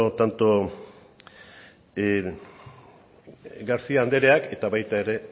tanto garcía andereak eta baita ere